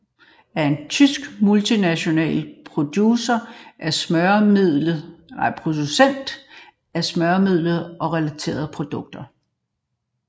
Fuchs Petrolub SE er en tysk multinational producent af smøremiddel og relaterede produkter